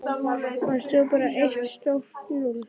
Þar stóð bara eitt stórt núll.